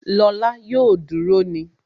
Lọ́la yóò duru ni